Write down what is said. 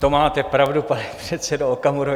To máte pravdu, pane předsedo Okamuro.